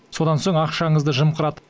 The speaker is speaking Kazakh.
содан соң ақшаңызды жымқырады